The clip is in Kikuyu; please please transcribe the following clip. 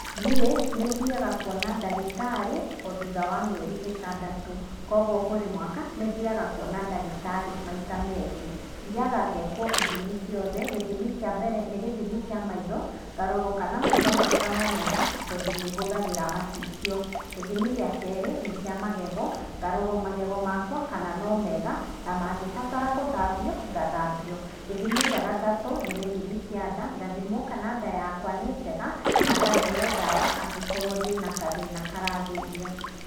Niĩ nĩthiaga kuona ndagĩtarĩ o thutha wa mĩeri ĩtandatũ, koguo kũri mwaka nĩthiaga kuona ndagĩtarĩ maita meerĩ. Thiaga ngekwo ithimi ciothe, githimi kĩa mbere, nĩ gĩthimi kĩa maitho, ngarorwo kana maitho makwa no mega tondũ nĩhũthagĩra macicio. Gĩthimi gĩa keerĩ nĩ kĩa magego, ngarorwo magego makwa kana no mega, mangĩbatara gũthambio ngathambio. Gĩthimi gĩa gatatũ nĩ kĩa nda, ngathimwo kana nda yakwa nĩ njega na ngaheo dawa angĩkorwo ndĩna kathĩna karathĩnia.